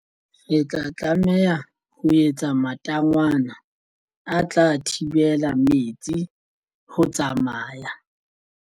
Ke tla tlameha ho etsa matangwana a tla thibela metsi ho tsamaya.